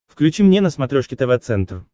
включи мне на смотрешке тв центр